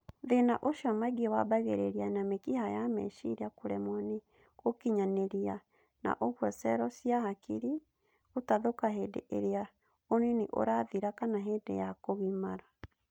Thĩna ũcio maingĩ wambagĩrĩria na mĩkiha ya meciria kũremwo nĩ gũkinyanĩria na ũguo cero cia hakiri gũtathũka hĩndĩ ĩrĩa ũnini ũrathira kana hĩndĩ ya kũgimara